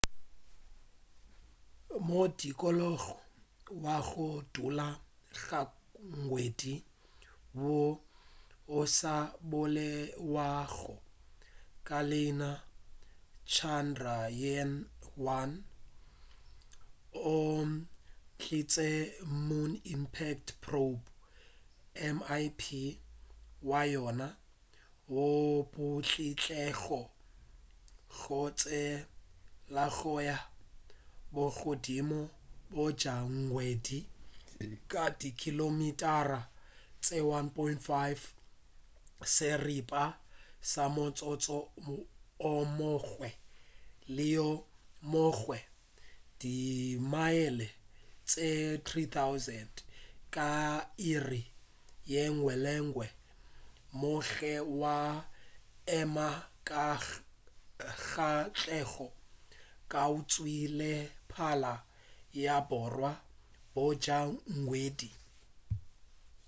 modikologo wa go dula ga ngwedi woo o sa bolelwago ka leina chandrayaan-1 o ntšhitše moon impact probe mip wa yona wo o putlutlilego go tshelaganya bogodimo bja ngwedi ka dikilomitara tše 1.5 seripa sa motsotso o mongwe le o mongwe di mile tše 3000 ka iri yengwe le yengwe gomme wa ema ka katlego kgauswi le pala ya borwa bja ngwedi